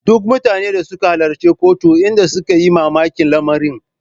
Duk mutanen da suka halarci kotun inda suka yi mamakin lamarin.